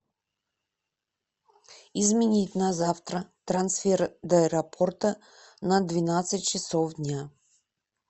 изменить на завтра трансфер до аэропорта на двенадцать часов дня